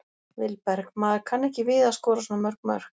Vilberg: Maður kann ekki við að skora svona mörg mörk.